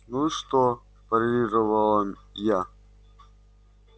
ну и что парировала я